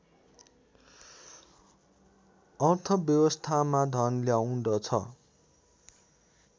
अर्थव्यवस्थामा धन ल्याउँदछ